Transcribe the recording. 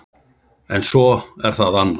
En svo er það annað.